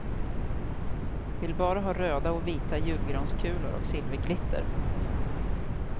Vill bara ha röda och vita julgranskulor och silverglitter.